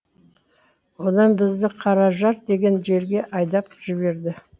одан бізді қаражар деген жерге айдап жіберді